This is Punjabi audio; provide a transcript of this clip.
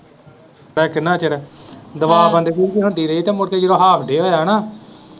ਕਿੰਨਾ ਚਿਰ ਦਬਾ ਪਾਂਦਾ ਹੁੰਦੀ ਰਹੀ ਤੇ ਮੁੜ ਕੇ ਜਦੋਂ half day ਹੋਇਆ ਨਾ।